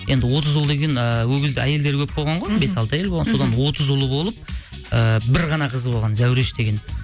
енді отыз ұл деген ыыы ол кезде әйелдер көп болған ғой бес алты әйел болған содан отыз ұл болып ыыы бір ғана қыз болған зәуреш деген